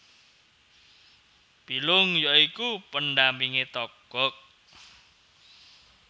Bilung ya iku pendampinge Togog